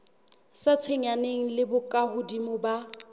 sa tshwenyaneng le bokahodimo ba